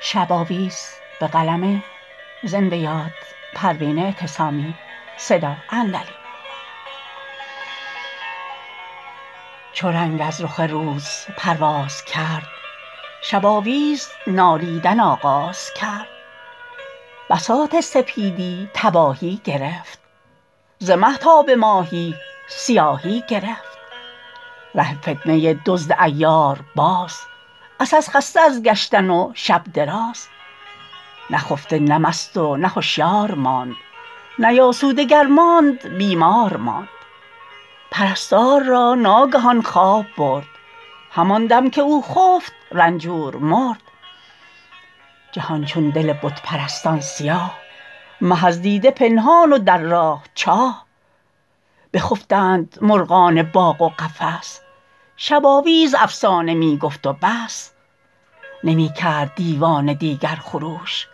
چو رنگ از رخ روز پرواز کرد شباویز نالیدن آغاز کرد بساط سپیدی تباهی گرفت ز مه تا بماهی سیاهی گرفت ره فتنه دزد عیار باز عسس خسته از گشتن و شب دراز نخفته نه مست و نه هوشیار ماند نیاسوده گر ماند بیمار ماند پرستار را ناگهان خواب برد هماندم که او خفت رنجور مرد جهان چون دل بت پرستان سیاه مه از دیده پنهان و در راه چاه بخفتند مرغان باغ و قفس شباویز افسانه میگفت و بس نمیکرد دیوانه دیگر خروش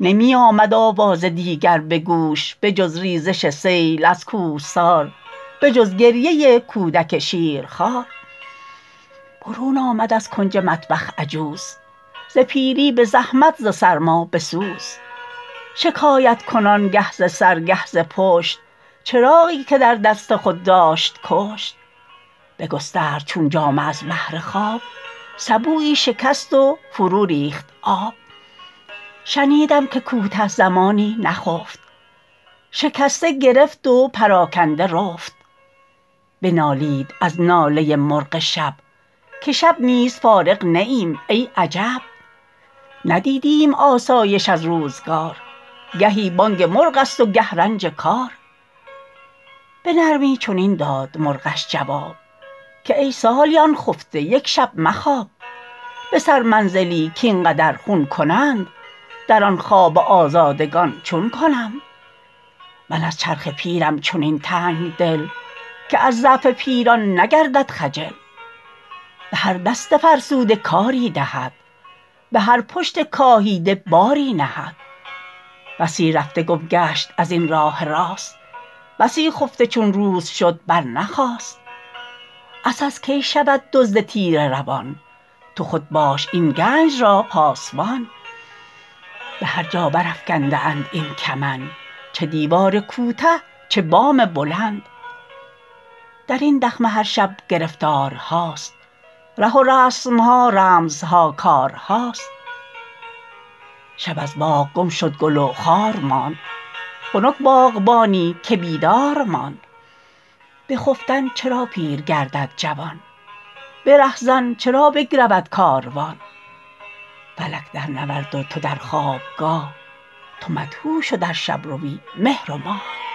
نمی آید آواز دیگر به گوش بجز ریزش سیل از کوهسار بجز گریه کودک شیرخوار برون آمد از کنج مطبخ عجوز ز پیری بزحمت ز سرما بسوز شکایت کنان گه ز سر گه ز پشت چراغی که در دست خود داشت کشت بگسترد چون جامه از بهر خواب سبویی شکست و فرو ریخت آب شنیدم که کوته زمانی نخفت شکسته گرفت و پراکنده رفت بنالید از ناله مرغ شب که شب نیز فارغ نه ایم ای عجب ندیدیم آسایش از روزگار گهی بانگ مرغست و گه رنج کار بنرمی چنین داد مرغش جواب که ای سالیان خفته یکشب مخواب به سر منزلی کاینقدر خون کنند در آن خواب آزادگان چون کنند من از چرخ پیرم چنین تنگدل که از ضعف پیران نگردد خجل بهر دست فرسوده کاری دهد بهر پشت کاهیده باری نهد بسی رفته گم گشت ازین راه راست بسی خفته چون روز شد برنخاست عسس کی شود دزد تیره روان تو خود باش این گنج را پاسبان بهرجا برافکنده اند این کمند چه دیوار کوته چه بام بلند درین دخمه هر شب گرفتارهاست ره و رسمها رمزها کارهاست شب از باغ گم شد گل و خار ماند خنک باغبانی که بیدار ماند بخفتن چرا پیر گردد جوان برهزن چرا بگرود کاروان فلک در نورد و تو در خوابگاه تو مدهوش و در شبروی مهر و ماه